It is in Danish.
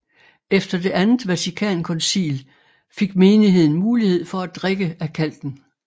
Efter Det andet Vatikankoncil fik menigheden mulighed for at drikke af kalken